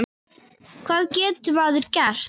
Hvað getur maður gert?